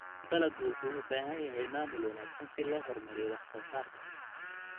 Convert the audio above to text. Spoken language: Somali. Dalaggu wuxuu u baahan yahay maamul wanaagsan si loo horumariyo wax soo saarka.